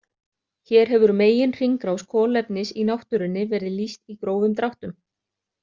Hér hefur meginhringrás kolefnis í náttúrunni verið lýst í grófum dráttum.